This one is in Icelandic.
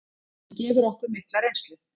Hann gefur okkur mikla reynslu.